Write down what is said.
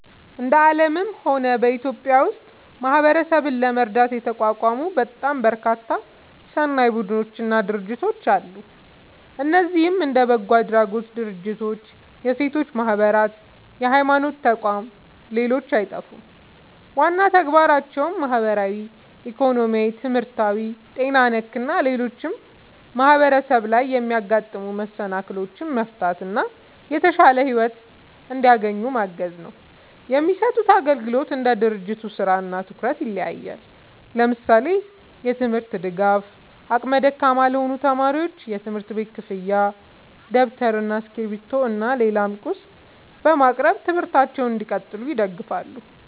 እንደ አለምም ሆነ በኢትዮጵያ ውስጥ ማህበረሰብን ለመርዳት የተቋቋሙ በጣም በርካታ ሰናይ ቡድኖች እና ድርጅቶች አለ። እነዚህም እንደ በጎ አድራጎት ድርጅቶች፣ የሴቶች ማህበራት፣ የሀይማኖት ተቋም ሌሎችም አይጠፉም። ዋና ተግባራቸውም ማህበራዊ፣ ኢኮኖሚያዊ፣ ትምህርታዊ፣ ጤና ነክ እና ሌሎችም ማህበረሰብ ላይ የሚያጋጥሙ መሰናክሎችን መፍታት እና የተሻለ ሒወት እንዲያገኙ ማገዝ ነው። የሚሰጡት አግልግሎት እንደ ድርጅቱ ስራ እና ትኩረት ይለያያል። ለምሳሌ፦ የትምርት ድጋፍ አቅመ ደካማ ለሆኑ ተማሪዎች የትምህርት ቤት ክፍያ ደብተር እና እስክሪብቶ እና ሌላም ቁስ በማቅረብ ትምህርታቸውን እንዲቀጥሉ ይደግፋሉ